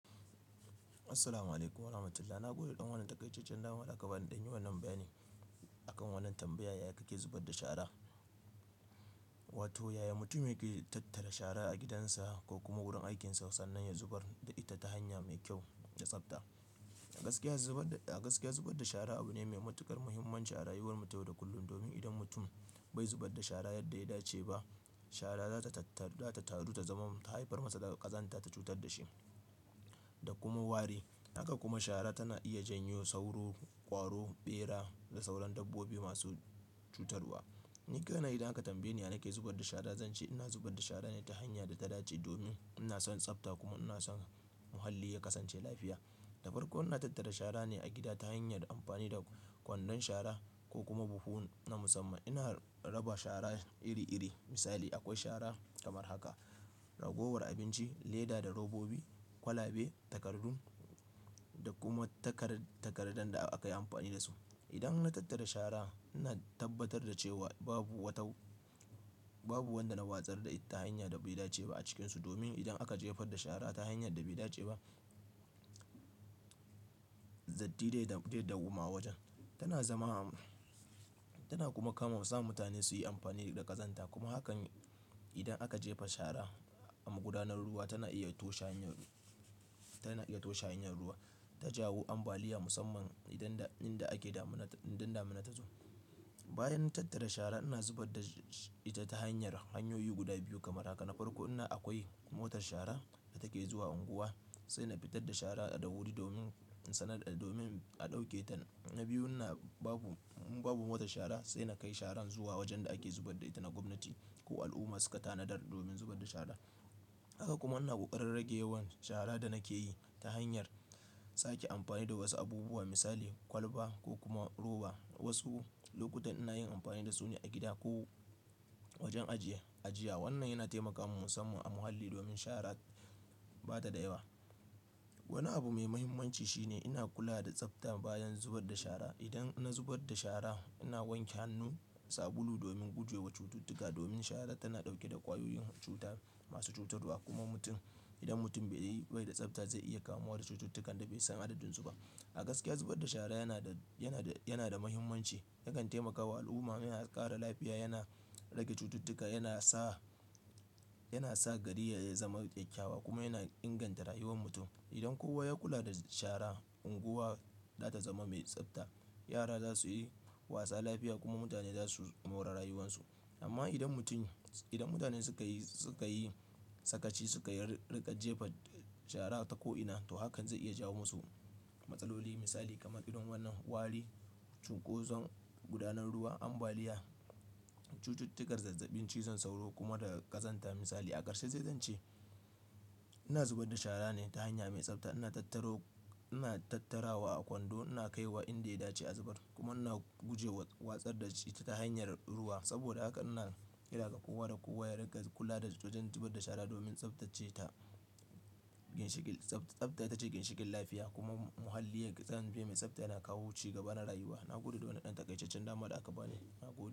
Assalamu'alaikum warahmatullahi. Na gode da ɗan wannan takaicecciyar dama da aka bani in ɗan yi wannan bayani akan wannan tambayar "Yaya kake zubar da shara?" Wato yaya mutum yake tattara shara a gidansa ko kuma wurin aikinsa sannan ya zubar da ita ta hanya mai kyau da tsafta. A gaskiya zubar, a gaskiya zubar da shara abu ne mai matuƙar muhimman a rayuwar mu ta yau da kullum. Domin idan mutum bai zubar da shara yadda ya dace ba, shara za ta tattaru, za ta taru ta zama ta haifar masa da ƙazanta, ta cutar da shi da kuma wari. Haka kuma shara tana iya janyo sauro, ƙwaro, ɓera da sauran dabbobi masu cutarwa. Ni kaina idan aka tambaye ni ya nake zubar da shara, zan ce ina zubar da shara ne ta hanya da ta dace domin ina son tsafta kuma ina son muhalli ya kasance lafiya. Na farko ina tattara shara ne a gida ta hanyar amfani da kwandon shara ko kuma buhu na musamman. Ina raba shara iri iri. Misali akwai shara kamar haka, ragowar abinci, leda da robobi, kwalabe, takardun da kuma takar-takardun da aka yi amfani da su. Idan na tattara shara, ina tabbatar da cewa babu wata, babu wanda na watsar da ita ta hanya da bai dace ba a cikinsu. Domin idan aka jefar da shara ta hanyar da bai dace ba, datti zai dau, zai dauwama a wajen. Tana zama, tana kuma kama sa mutane su yi amfani da ƙazanta. Kuma hakan idan aka jefa shara a gudanar ruwa, tana iya toshe hanyar, tana iya toshe hanyar ruwa ta jawo ambaliya musamman idan, inda ake damuna, indin damuna ta zo. Bayan tattara shara ina zubar da ita ta hanyar hanyoyi guda biyu kamar haka. Na farko ina akwai motar shara da take zuwa unguwa sai na fitar da shara da wuri domin sanar, domin a ɗauke ta. Na biyun na babu, in babu motar shara sai na kai sharan zuwa wajen da ake zubar da ita na gwamnati ko al'umma suka tanadar domin zubar da shara. Haka kuma ina ƙoƙarin rage yawan shara da nake yi ta hanyar sake amfani da wasu abubuwa misali kwalba ko kuma roba. Wasu lokutan ina yin amfani da su ne a gida ko wajen ajiye, ajiya. Wannan yana taimaka musamman a muhalli domin shara ba ta da yawa. Wani abu mai muhimmanci shine ina kula da tsafta bayan zubar da shara. Idan na zubar da shara ina wanke hannu, sabulu domin guje wa cututtuka. Domin shara tana ɗauke da ƙwayoyin cuta masu cutarwa kuma mutum, idan mutum bai yi, bai da tsafta zai iya kamuwa da cututtukan da bai san adadun su ba. A gaskiya zubar da shara yana da, yana da, yana da muhimmanci. Yakan taimaka wa al'umma mai ƙara lafiya, yana rage cututtuka, yana sa, yana sa gari ya zama kyakkyawa kuma yana inganta rayuwar mutum. Idan kowa ya kula da shara, unguwa za ta zama mai tsafta, yara za su yi wasa lafiya kuma mutane za su more rayuwansu. Amma idan mutum, idan mutane suka yi, suka yi sakaci, suka yi rikƙa jefa shara a ta ko'ina to hakan zai iya jawo musu matsaloli misali kamar irin wannan wari, cunkoson gudanar ruwa, ambaliya, cututtukar zazzabin cizon sauro kuma da ƙazanta misali. A ƙarshe zai zance ina zubar da shara ne ta hanya mai tsafta. Ina tattaro, ina tattarawa a kwando, ina kai wa inda ya dace a zubar kuma ina guje wa watsar da shi ta hanyar ruwa. Saboda haka ina kira ga kowa da kowa ya rikƙa kula da wajen zubar da shara domin tsaftace ta. Ginshiƙin tsafta, tsafta ita ce ginshiƙin lafiya kuma muhalli ya kasance mai tsafta yana kawo ci gaba na rayuwa. Na gode da wannan ɗan takaicaccen dama da aka bani. Na gode.